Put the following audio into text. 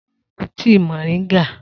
Ta ló mu tíi moringa?